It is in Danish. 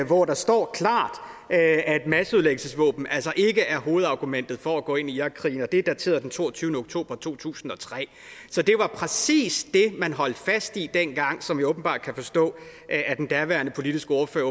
hvor der står klart at masseødelæggelsesvåben altså ikke er hovedargumentet for at gå ind i irakkrigen og det er dateret den toogtyvende oktober to tusind og tre så det var præcis det man holdt fast i dengang som jeg jo åbenbart kan forstå at at den daværende politiske ordfører